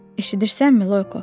Eşidirsənmi, Loyko?